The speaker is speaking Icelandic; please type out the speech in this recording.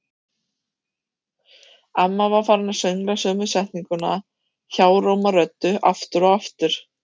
Amma var farin að söngla sömu setninguna hjáróma röddu, aftur og aftur.